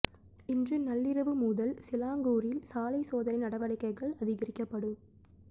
இன்று நள்ளிரவு முதல் சிலாங்கூரில் சாலை சோதனை நடவடிக்கைகள் அதிகரிக்கப்படும்